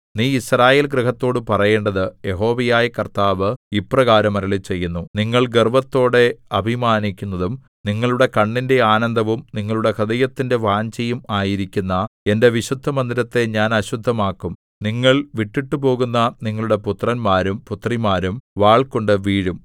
നീ യിസ്രായേൽ ഗൃഹത്തോട് പറയേണ്ടത് യഹോവയായ കർത്താവ് ഇപ്രകാരം അരുളിച്ചെയ്യുന്നു നിങ്ങൾ ഗർവ്വത്തോടെ അഭിമാനിക്കുന്നതും നിങ്ങളുടെ കണ്ണിന്റെ ആനന്ദവും നിങ്ങളുടെ ഹൃദയത്തിന്റെ വാഞ്ഛയും ആയിരിക്കുന്ന എന്റെ വിശുദ്ധമന്ദിരത്തെ ഞാൻ അശുദ്ധമാക്കും നിങ്ങൾ വിട്ടിട്ടുപോകുന്ന നിങ്ങളുടെ പുത്രന്മാരും പുത്രിമാരും വാൾകൊണ്ടു വീഴും